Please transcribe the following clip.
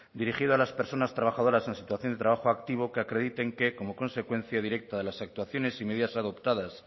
dirigido a las personas trabajadoras en situación de trabajo activo que acrediten que como consecuencia directa de las actuaciones y medidas adoptadas